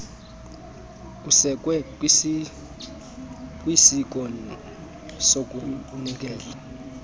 usekwe kwisiko sokuzinikela